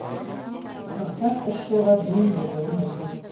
рұқсат үш жылға дейін берілуі мүмкін